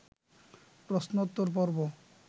প্রশ্নোত্তর-পর্ব